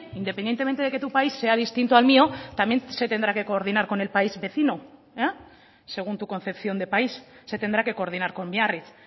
independientemente de que tu país sea distinto al mío también se tendrá que coordinar con el país vecino según tu concepción de país se tendrá que coordinar con biarritz